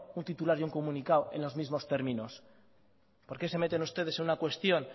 un titular y un comunicado en los mismos términos por qué se meten ustedes en una cuestión